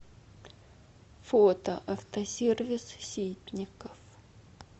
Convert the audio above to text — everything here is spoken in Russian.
фото автосервис ситников